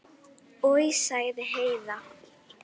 Oj, sagði Heiða.